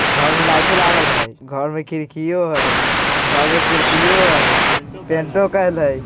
घर मे लाइटों लागल हइ। घर मे खिडकियों हइ। घर मे कुर्सियों हइ। टेंटों काइल हइ।